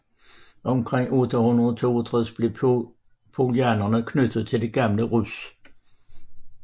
Omkring 862 blev poljanerne knyttet til det gamle Rus